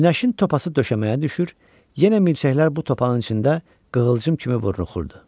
Günəşin topası döşəməyə düşür, yenə milçəklər bu topağın içində qığılcım kimi vuruşurdu.